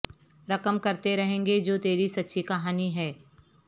رقم کرتے رہیں گے جو تیری سچی کہانی ہے